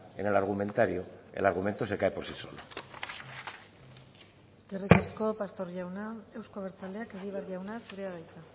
en el argumentario el argumento se cae por sí solo eskerrik asko pastor jauna euzko abertzaleak egibar jauna zurea da hitza